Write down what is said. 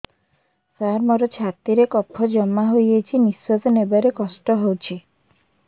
ସାର ମୋର ଛାତି ରେ କଫ ଜମା ହେଇଯାଇଛି ନିଶ୍ୱାସ ନେବାରେ କଷ୍ଟ ହଉଛି